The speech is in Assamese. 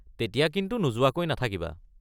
তেতিয়া কিন্তু নোযোৱাকৈ নাথাকিবা।